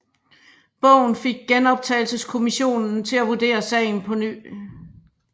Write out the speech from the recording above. Bogen fik Genoptagelseskommissionen til at vurdere sagen på ny